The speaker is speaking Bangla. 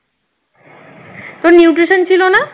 তোর nutrition ছিল না